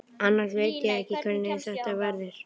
Annars veit ég ekki hvernig þetta verður.